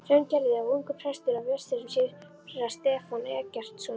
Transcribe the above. Hraungerði og ungur prestur á Vestfjörðum, séra Stefán Eggertsson.